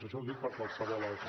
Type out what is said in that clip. això ho dic per qualsevol altre